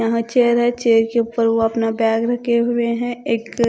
यहां चेयर है चेयर के ऊपर वो अपना बैग रखे हुए हैं एक--